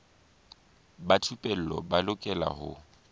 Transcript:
ba thupelo ba lokela ho